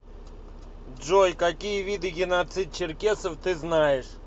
джой какие виды геноцид черкесов ты знаешь